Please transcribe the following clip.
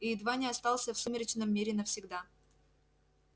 и едва не остался в сумеречном мире навсегда